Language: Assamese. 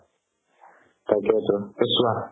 সেইটোয়েতো